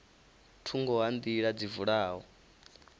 thungo ha nḓila dzi vula